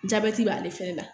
Jabɛti b'ale fɛnɛ la